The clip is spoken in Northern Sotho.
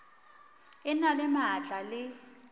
e na le maatla le